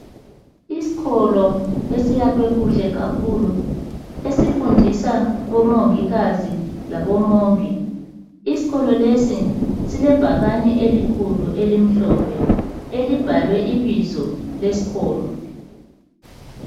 Isikolo esiyakhwe kuhle kakhulu esifundisa omongikazi labomongi. Isikolo lesi silebhakane elikhulu elimhlophe elibhalwe ibizo lesikolo.